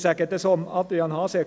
Ich sage das auch zu Adrian Haas: